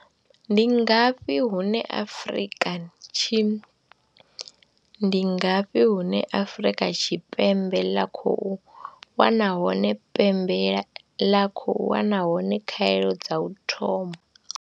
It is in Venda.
Ndi ngafhi hune Afrika Tshi, Ndi ngafhi hune Afrika Tshipembe ḽa khou wana hone pembe ḽa khou wana hone khaelo dza u thoma?